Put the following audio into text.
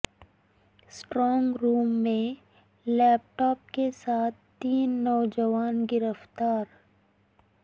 strong room میں laptop کے ساتھ تین نوجوان گرفتار